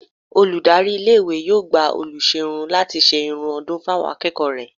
Olùdarí iléèwé yóò gba olùṣọ́ irun láti ṣe irun ọdún fún àwọn akẹ́kọ̀ọ́ rẹ̀